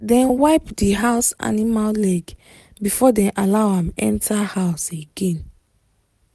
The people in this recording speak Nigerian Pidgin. dem wipe the house animal leg before dem allow am enter house again.